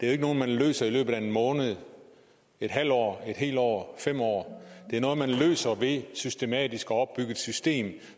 er noget man løser i løbet af en måned en halv år en år fem år det er noget man løser ved systematisk at opbygge et system